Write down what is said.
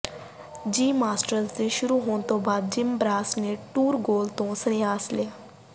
ਦਿ Masters ਦੇ ਸ਼ੁਰੂ ਹੋਣ ਤੋਂ ਜਿਮ ਬਰਾਂਸ ਨੇ ਟੂਰ ਗੋਲ ਤੋਂ ਸੰਨਿਆਸ ਲਿਆ